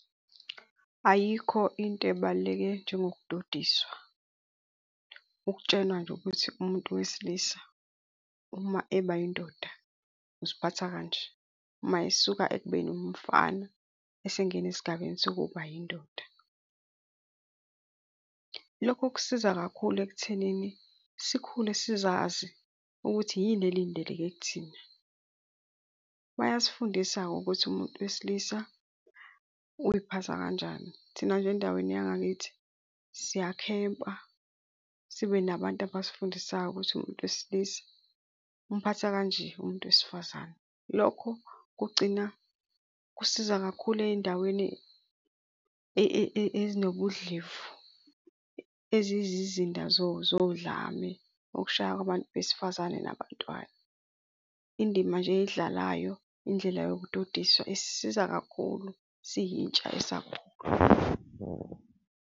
Ayikho into ebaluleke njengokudodiswa ukutshelwa nje ukuthi umuntu wesilisa uma eba yindoda uziphatha kanje, uma esuka ekubeni umfana esengena esigabeni sokuba yindoda. Lokhu kusiza kakhulu ekuthenini sikhule sizazi ukuthi yini elindeleke kithina. Bayasifundisa-ke ukuthi umuntu wesilisa uyiphatha kanjani. Thina nje endaweni yangakithi siyakhempa sibe nabantu abasifundisayo ukuthi umuntu wesilisa umphatha kanje umuntu wesifazane. Lokho kugcina kusiza kakhulu ey'ndaweni ezinobudlevu, eziyizizinda zodlame okushaywa kwabantu besifazane nabantwana. Indima nje eyidlalayo indlela yokudodiswa isisiza kakhulu siyintsha esakhula.